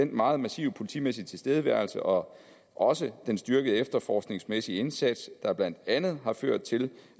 meget massive politimæssige tilstedeværelse og også den styrkede efterforskningsmæssige indsats der blandt andet har ført til